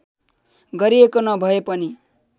गरिएको नभए पनि